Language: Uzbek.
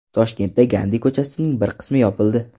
Toshkentda Gandi ko‘chasining bir qismi yopildi.